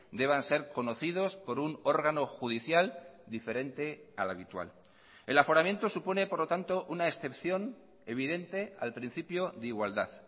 deban ser conocidos por un órgano judicial diferente al habitual el aforamiento supone por lo tanto una excepción evidente al principio de igualdad